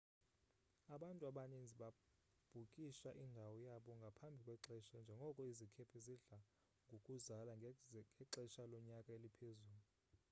abantu abaninzi babhukisha indawo yabo ngaphambi kwexesha njengoko izikhephe zidla ngokuzala ngexesha lonyaka eliphezulu